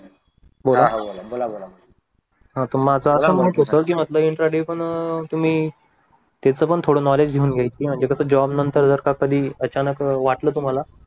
हा माझं असं मत होतं की म्हटलं इंट्राडे पण अह तुम्ही त्याच पण थोडं नॉलेज घेऊन घ्या घेऊन घ्या की म्हणजे कसं जॉब नंतर का कधी अचानक अह वाटलं तुम्हाला